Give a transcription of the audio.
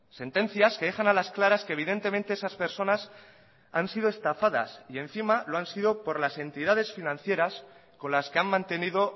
sentencias que dejan a las claras que evidentemente esas personas han sido estafadas y encima lo han sido por las entidades financieras con las que han mantenido